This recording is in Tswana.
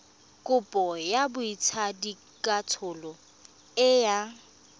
kopo ya botsadikatsholo e yang